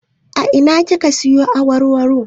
A ina kika siyo awarwaro?